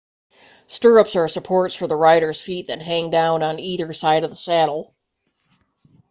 stirrups are supports for the rider's feet that hang down on either side of the saddle